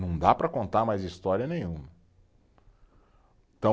Não dá para contar mais história nenhuma. Então